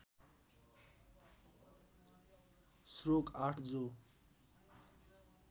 श्लोक ८ जो